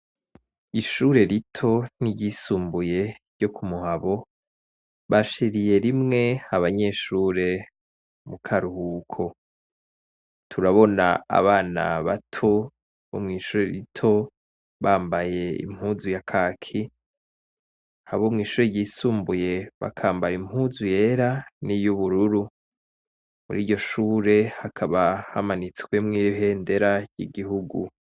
Ishure rito n'iryisumbuye ryo ku Muhabo, bashiriye rimwe abanyeshure mu karuhuko, turabona abana bato mw'ishure rito bambaye impuzu ya kaki, abo mw'ishure ryisumbuye bakambara impuzu yera niy'ubururu, muriryo shure hakaba hamanitswemo ibendera ry'igihugu.